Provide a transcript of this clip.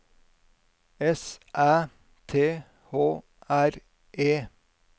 S Æ T H R E